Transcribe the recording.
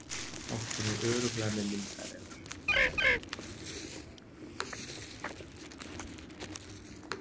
Bankinn er örugglega með myndavélar